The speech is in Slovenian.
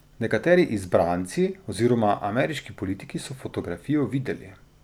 Nekateri izbranci oziroma ameriški politiki so fotografijo videli.